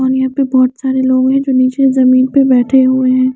और यहाँ पे बहोत सारे लोग हैं जो नीचे जमीन पर बेठे हुए हैं।